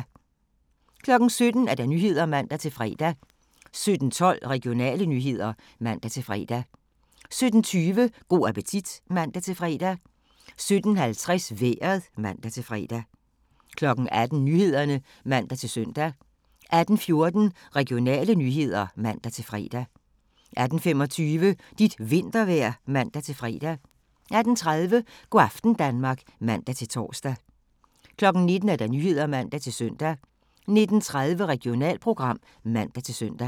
17:00: Nyhederne (man-fre) 17:12: Regionale nyheder (man-fre) 17:20: Go' appetit (man-fre) 17:50: Vejret (man-fre) 18:00: Nyhederne (man-søn) 18:14: Regionale nyheder (man-fre) 18:25: Dit vintervejr (man-fre) 18:30: Go' aften Danmark (man-tor) 19:00: Nyhederne (man-søn) 19:30: Regionalprogram (man-søn)